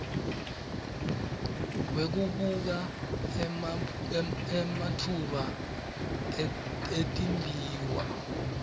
wekubuka ematfuba etimbiwa